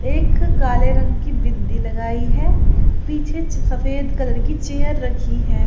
एक काले रंग की बिंदी लगाई है। पीछे सफेद कलर की चेयर रखी है।